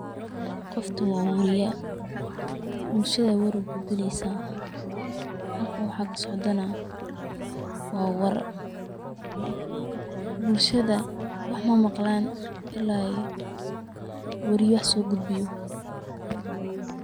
Goftu wa wariya, bulshada war ugudbineysaa, xalkan waxa kasocdo naa wa war, bulshada wax mamaglan ila iyo wariya wax sogudbiyo.